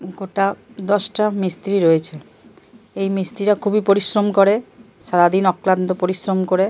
গোটা দশটা মিস্তিরি রয়েছে। এই মিস্তিরিরা খুবই পরিশ্রম করে। সারাদিন অক্লান্ত পরিশ্রম করে।